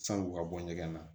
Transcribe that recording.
San'u ka bɔ ɲɛgɛn na